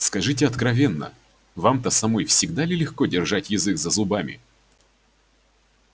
скажите откровенно вам-то самой всегда ли легко держать язык за зубами